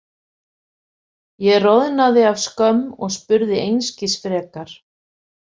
Ég roðnaði af skömm og spurði einskis frekar.